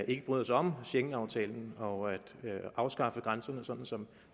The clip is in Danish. ikke bryder sig om schengenaftalen og at afskaffe grænserne sådan som